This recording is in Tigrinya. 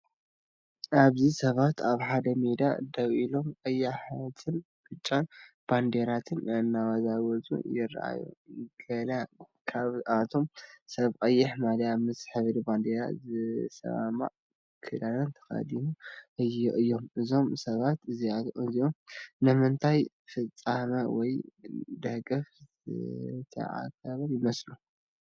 ኣብዚ ሰባት ኣብ ሓደ ሜዳ ደው ኢሎም ቀያሕትን ብጫን ባንዴራታት እናወዛወዙ ይረኣዩ። ገለ ካብቶም ሰባት ቀይሕ ማልያን ምስ ሕብሪ ባንዴራ ዝሰማማዕ ክዳንን ተኸዲኖም እዮም። እዞም ሰባት እዚኦም ንምንታይ ፍጻመ ወይ ደገፍ ዝተኣከቡ ይመስሉ?